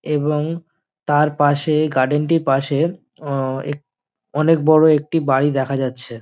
এবং তার পাশে গার্ডেনটির পাশে অ-অ এক অনেক বড়ো একটি বাড়ি দেখা যাচ্ছে।